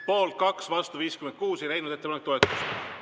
Poolt on 2 ja vastu 56, ettepanek ei leidnud toetust.